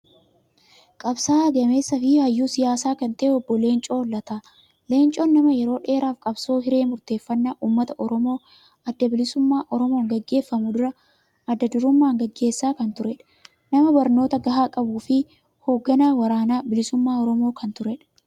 Qabsaa'aa gameessaa fi hayyuu siyaasaa kan ta'e Obbo Leencoo Lataa. Leencoon nama yeroo dheeraaf qabsoo hiree murteeffannaa uummata Oromoo adda bilisummaa Oromoon gaggeeffamu adda durummaan gaggeessaa kan turedha. Nama barnoota gahaa qabuu fi hoogganaa waraana bilisummaa Oromoo kan turedha.